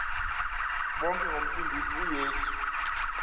bonke ngomsindisi uyesu